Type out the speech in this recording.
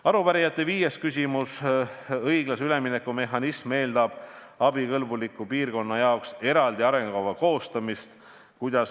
Arupärijate viies küsimus: "Õiglase ülemineku mehhanism eeldab abikõlbuliku piirkonna jaoks eraldi arengukava koostamist.